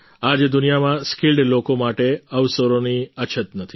આજે દુનિયામાં સ્કિલ્ડ લોકો માટે અવસરોની અછત નથી